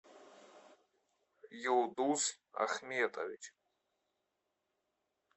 юлдуз ахметович